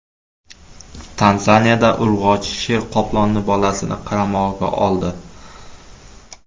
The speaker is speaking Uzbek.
Tanzaniyada urg‘ochi sher qoplonning bolasini qaramog‘iga oldi.